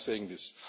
Why am I saying